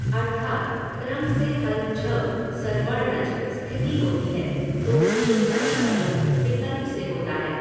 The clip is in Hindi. अर्थात् क्रम से हल् झ सर्वर्णझ स्थिति होती है तो पूर्वझर का लोप विकल्प से होता है।